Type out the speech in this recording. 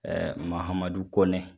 Mahamadu Kɔnɛ.